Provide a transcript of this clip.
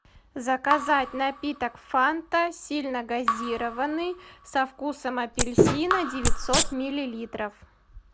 заказать напиток фанта сильногазированный со вкусом апельсина девятьсот миллилитров